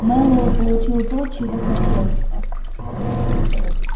мэллоу получил то чего хотел